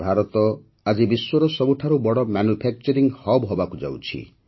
ଭାରତ ଆଜି ବିଶ୍ୱର ସବୁଠାରୁ ବଡ଼ ମାନ୍ୟୁଫାକ୍ଚରିଙ୍ଗ ହବ୍ ହେବାକୁ ଯାଉଛି